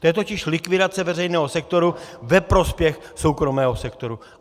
To je totiž likvidace veřejného sektoru ve prospěch soukromého sektoru.